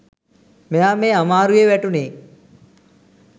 මෙයා මේ අමාරුවේ වැටුණේ.